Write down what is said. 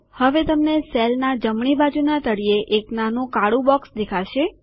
હવે તમને સેલના જમણી બાજુના તળિયે એક નાનું કાળું બોક્સ દેખાશે